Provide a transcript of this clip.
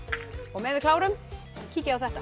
og meðan við klárum kíkið á þetta